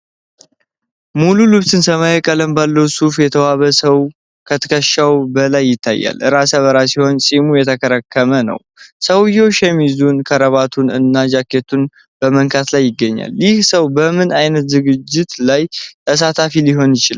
ሙሉ ልብሱን ሰማያዊ ቀለም ባለው ሱፍ የተዋበ ሰው ከትከሻው በላይ ይታያል። ራሰ በራ ሲሆን ፂሙ የተከረተመ ነው። ሰውዬው ሸሚዙን፣ ክራቫቱን እና ጃኬቱን በመንካት ላይ ይገኛል፤ ይህ ሰው በምን አይነት ዝግጅት ላይ ተሳታፊ ሊሆን ይችላል?